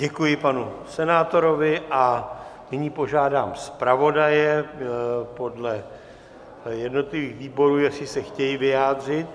Děkuji panu senátorovi a nyní požádám zpravodaje podle jednotlivých výborů, jestli se chtějí vyjádřit.